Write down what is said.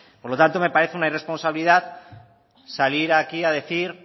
por lo tanto me parece una irresponsabilidad salir aquí a decir